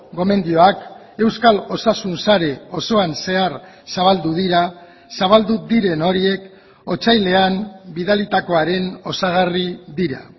gomendioak euskal osasun sare osoan zehar zabaldu dira zabaldu diren horiek otsailean bidalitakoaren osagarri dira